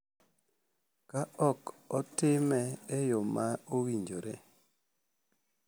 Ka ok otime e yo ma owinjore,